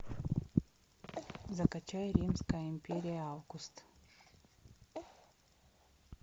закачай римская империя август